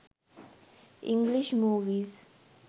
english movies